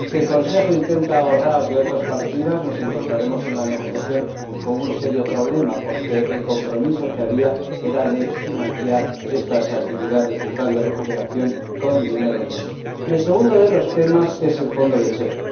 Si el Consejo intenta ahorrar de otras partidas, nos encontraremos en la negociación con un serio problema, porque el compromiso que había consistía en financiar estas actividades del plan de recuperación con dinero nuevo. El segundo de los temas es el Fondo lácteo.